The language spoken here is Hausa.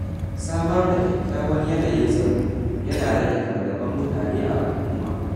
Samar da kyakkyawan yanayin tsaro yana rage fargabar mutane a al’umma.